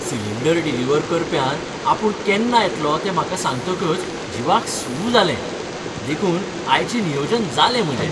Cylinder deliver करप्यान आपूण केन्ना येतलो हें म्हाका सांगतकच जीवाक सूss जालें, देखून आयचें नियोजन जालें म्हजें.